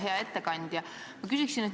Hea ettekandja!